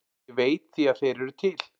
Ég veit því að þeir eru til.